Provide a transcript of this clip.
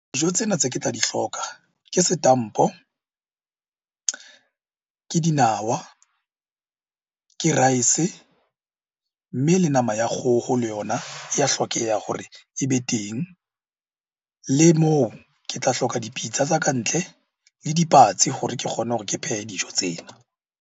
Dijo tsena tse ke tla di hloka ke setampo, ke dinawa, ke rice, mme le nama ya kgoho le yona e ya hlokeha ke hore e be teng. Le moo ke tla hloka dipitsa tsa ka ntle le dipatsi hore ke kgone hore ke phehe dijo tsena.